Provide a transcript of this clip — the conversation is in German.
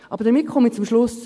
Damit komme ich zum Schluss.